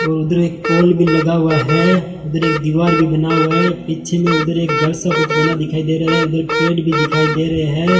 उधर एक पोल भी लगा हुआ है उधर एक दीवार भी बना हुआ है पीछे में उधर एक घर सा बना कुछ दिखाई दे रहा है उधर पेड़ भी दिखाई दे रहे हैं।